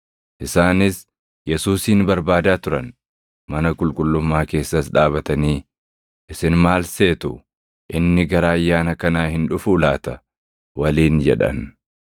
Isaanis Yesuusin barbaadaa turan; mana qulqullummaa keessas dhaabatanii, “Isin maal seetu? Inni gara Ayyaana kanaa hin dhufuu laata?” waliin jedhan.